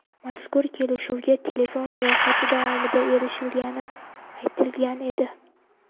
Mazkur kelishuvga telefon muloqoti davomida erishilgani aytilgan edi.